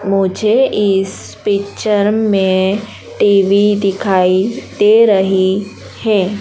मुझे इस पिक्चर में टी_वी दिखाई दे रही है।